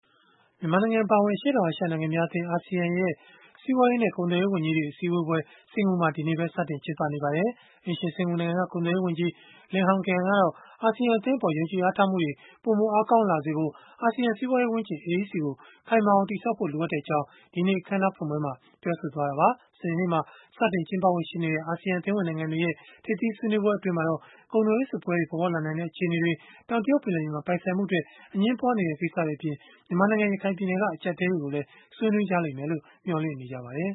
မြန်မာနိုင်ငံအပါအဝင် အရှေ့တောင်အာရှ နိုင်ငံများအသင်း ရဲ့ စီးပွားရေးနဲ့ ကုန်သွယ်ရေးဝန်ကြီးတွေရဲ့ အစည်းအဝေးပွဲတွေ စင်္ကာပူနိုင်ငံမှာ ဒီကနေ့ပဲ စတင်ကျင်းပနေပါပြီ။ အိမ်ရှင်စင်္ကာပူနိုင်ငံက ကုန်သွယ်ရေးဝန်ကြီး Lim Hng Kiang ကတော့ အာဆီယံ အသင်းအပေါ် ယုံကြည်အားထားမှုတွေ ပိုမိုအားကောင်းလာစေဖို့ အာဆီယံစီးပွားရေးဝန်းကျင် ကို ခိုင်မာအောင် တည်ဆောက်ဖို့ လိုအပ်ကြောင်း ဒီကနေ့ အခန်းအနားဖွင့်ပွဲမှာ ပြောဆိုခဲ့တာပါ။ မနက်ဖြန် စနေနေ့မှာ စတင်ကျင်းပဖို့ ရှိနေတဲ့ အာဆီယံအသင်းဝင် နိုင်ငံတွေရဲ့ ထိပ်သီးဆွေးနွေးပွဲမှာတော့ ကုန်သွယ်ရေးစစ်ပွဲတွေ ပေါ်ပေါက်လာနိုင်တဲ့ အခြေအနေတွေ၊ တောင်တရုတ် ပင်လယ်ပြင်မှာ ပိုင်ဆိုင်မှုအတွက် အငြင်းပွားနေတဲ့ ကိစ္စတွေအပြင်၊ မြန်မာနိုင်ငံ ရခိုင်ပြည်နယ်က အကျပ်အတည်းတွေကိုလည်း ဆွေးနွေးလိမ့်မယ်လို့ မျှော်လင့်ရပါတယ်